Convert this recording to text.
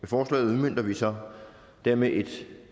forslaget udmønter vi så dermed et